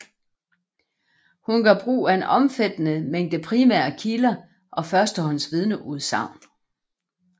Hun gør brug af en omfattende mængde primære kilder og første hånds vidneudsagn